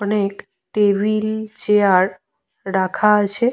অনেক table chair রাখা আছে।